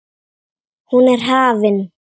Hún er hafin.